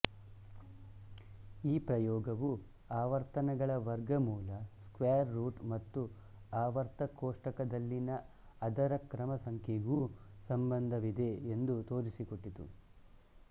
ಈ ಪ್ರಯೋಗವು ಆವರ್ತನಗಳ ವರ್ಗ ಮೂಲ ಸ್ಕ್ವಯೆರ್ ರೂಟ್ ಮತ್ತು ಆವರ್ತ ಕೋಷ್ಟಕದಲ್ಲಿನ ಅದರ ಕ್ರಮಸಂಖ್ಯೆಗೂ ಸಂಬಂಧವಿದೆ ಎಂದು ತೋರಿಸಿಕೊಟ್ಟಿತು